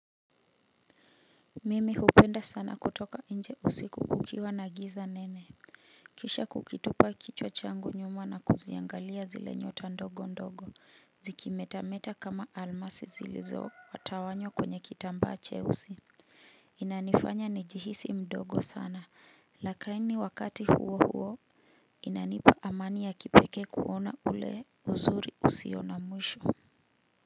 Mimi hupenda sana kutoka nje usiku kukiwa na giza nene. Kisha kukitupa kichwa changu nyuma na kuziangalia zile nyota ndogo ndogo zikimetameta kama almasi zilizo tawanywa kwenye kitambaa cheusi inanifanya nijihisi mdogo sana lakini wakati huo huo inanipa amani ya kipekee kuona ule uzuri usio na mwisho.